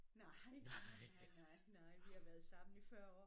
Nej nej nej nej nej vi har været sammen i 40 år